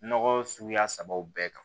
Nɔgɔ suguya sabaw bɛɛ kan